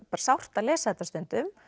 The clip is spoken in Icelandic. sárt að lesa þetta stundum